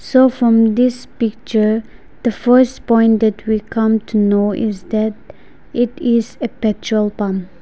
so from this picture the first point that we come to know is that it is a petrol pump.